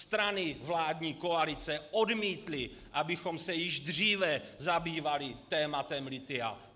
Strany vládní koalice odmítly, abychom se již dříve zabývali tématem lithia.